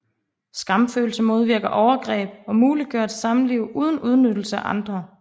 Skamfølelse modvirker overgreb og muliggør et samliv uden udnyttelse af andre